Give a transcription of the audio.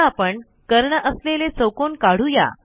आता आपण कर्ण असलेला चौकोन काढू या